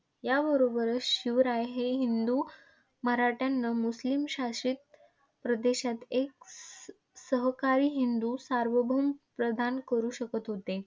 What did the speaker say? याबरोबरच शिवराय हे हिंदू मराठ्यांना मुस्लिम शासित प्रदेशात एक ससहकारी हिंदू सार्वभौम प्रधान करु शकत होते.